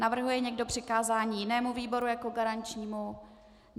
Navrhuje někdo přikázání jinému výboru jako garančnímu?